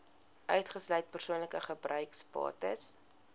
uitgesluit persoonlike gebruiksbates